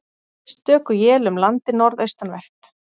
Stöku él um landið norðaustanvert